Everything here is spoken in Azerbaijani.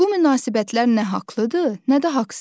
Bu münasibətlər nə haqlıdır, nə də haqsız.